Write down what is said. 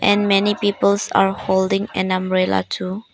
And many peoples are holding an umbrella too.